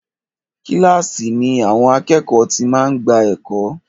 Kílàsì ni àwọn àkẹ́ẹ̀kọ́ ti máa ń gbà ẹ̀kọ́.